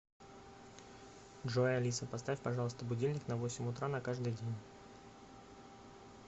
джой алиса поставь пожалуйста будильник на восемь утра на каждый день